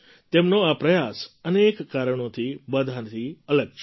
તેમનો આ પ્રયાસ અનેક કારણોથી બધાથી અલગ છે